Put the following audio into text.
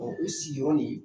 Ɔ u sigiyɔrɔ ye